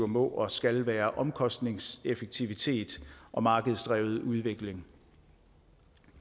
må og skal være omkostningseffektivitet og markedsdrevet udvikling